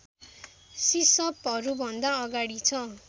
सिसपहरूभन्दा अगाडि छ